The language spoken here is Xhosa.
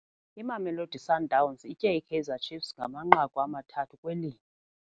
Imamelodi Sundowns itye iKaizer Chiefs ngamanqaku amathathu kwelinye.